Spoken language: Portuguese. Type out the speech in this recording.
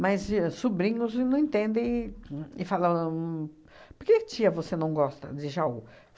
Mas e sobrinhos e não entendem e falam... Por que, tia, você não gosta de Jaú?